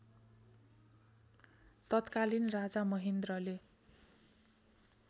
तत्कालीन राजा महेन्द्रले